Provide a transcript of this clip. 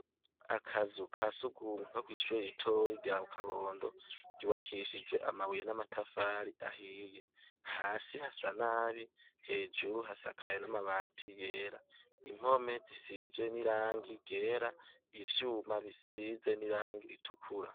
Akazu ka sugumwa ko kw'ishura iritoyi rya kabondo riwakishijwe amabuye n'amatafari ahiye hasi hasa n'abi hejuru hasakaye n'amabati yera impome zisizwe n'irangi gera ivyuma bisize n'irangi ritukura.